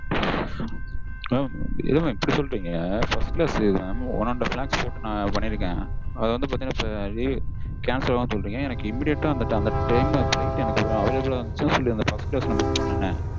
என்ன mam இப்படி சொல்றீங்க? First class இது mam one and half lakhs பண்ணிருக்கேன்.